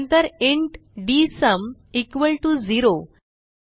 नंतर int dsum equal to 0